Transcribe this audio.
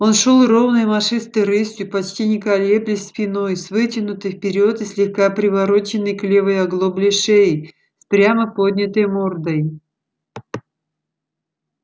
он шёл ровной машистой рысью почти не колеблясь спиной с вытянутой вперёд и слегка привороченной к левой оглобле шеей с прямо поднятой мордой